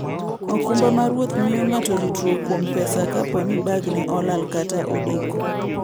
okumba mar wuoth miyo ng'ato ritruok kuom pesa kapo ni bagne olal kata odeko.